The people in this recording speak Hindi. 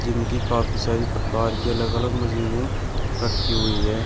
जिम की काफी सारी प्रकार की अलग अलग मशीनें रखी हुई है।